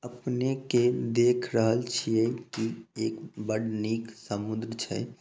अपने के देख रहल छिये की एक बड़ निक सामुद्र छै।